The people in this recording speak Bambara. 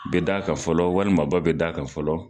Be da kan fɔlɔ, walima ba be da kan fɔlɔ.